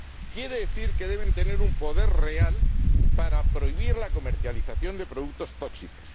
Quiere decir que deben tener un poder real para prohibir la comercialización de productos tóxicos